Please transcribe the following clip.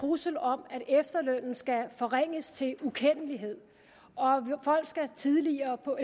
trussel om at efterlønnen skal forringes til ukendelighed og folk skal senere på